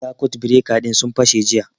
Sakut bireka ɗin sun fashe jiya